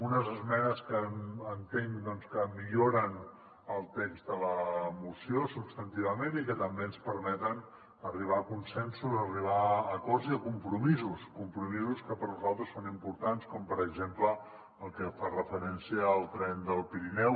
unes esmenes que entenc doncs que milloren el text de la moció substantivament i que també ens permeten arribar a consensos arribar a acords i a compromisos compromisos que per nosaltres són importants com per exemple el que fa referència al tren del pirineu